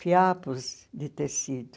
fiapos de tecido.